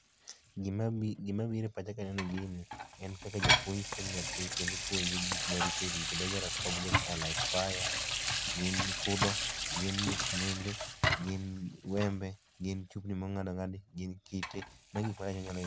Gima biro e pacha kaneno gini en kaka japuonj puonjo nyathi kendo ipuonjo gik maricho richo dangerous objects are like fire gin kudho gin musmende, gin wembe gin chup ni mong'ad ong'adi gin kite magi gik ...